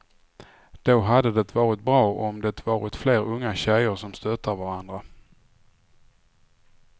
Då hade det varit bra om det varit fler unga tjeler som stöttar varandra.